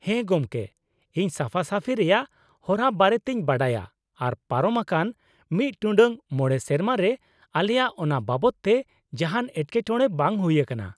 ᱦᱮᱸ ᱜᱚᱝᱠᱮ, ᱤᱧ ᱥᱟᱯᱷᱟ ᱥᱟᱹᱯᱷᱤ ᱨᱮᱭᱟᱜ ᱦᱚᱨᱟ ᱵᱟᱨᱮᱛᱤᱧ ᱵᱟᱰᱟᱭᱟ ᱟᱨ ᱯᱟᱨᱚᱢ ᱟᱠᱟᱱ ᱑ᱹ᱕ ᱥᱮᱨᱢᱟ ᱨᱮ ᱟᱞᱮᱭᱟᱜ ᱚᱱᱟ ᱵᱟᱵᱚᱛ ᱛᱮ ᱡᱟᱦᱟᱱ ᱮᱴᱠᱮᱴᱚᱬᱮ ᱵᱟᱝ ᱦᱩᱭ ᱟᱠᱟᱱᱟ ᱾